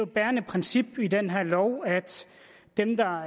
bærende princip i den her lov at dem der har